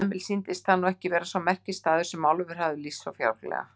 Emil sýndist það nú ekki vera sá merkisstaður sem Álfur hafði lýst svo fjálglega.